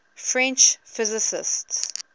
french physicists